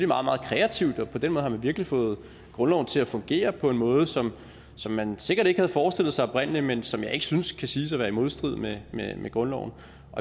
meget meget kreativt og på den måde har man virkelig fået grundloven til at fungere på en måde som som man sikkert ikke havde forestillet sig oprindelig men som jeg ikke synes kan siges at være i modstrid med med grundloven